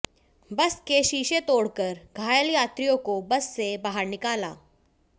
बस के शीशे तोडकर घायल यात्रियों को बस से बाहर निकाला